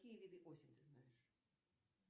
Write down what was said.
какие виды осень ты знаешь